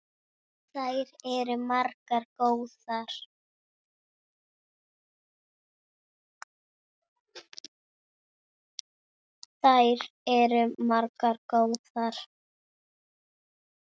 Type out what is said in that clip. Þær eru margar og góðar.